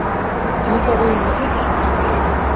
Djúpavogi í fyrra? spurði Lilla.